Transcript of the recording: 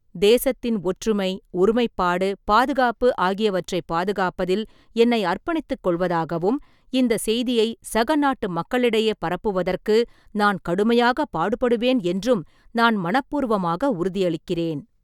தேசத்தின் ஒற்றுமை, ஒருமைப்பாடு, பாதுகாப்பு ஆகியவற்றைப் பாதுகாப்பதில் என்னை அர்ப்பணித்துக் கொள்வதாகவும், இந்தச் செய்தியை சக நாட்டுமக்களிடையே பரப்புவதற்கு நான் கடுமையாகப் பாடுபடுவேன் என்றும் நான் மனப்பூர்வமாக உறுதியளிக்கிறேன்.